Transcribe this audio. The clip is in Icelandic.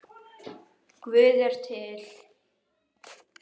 Guð er til.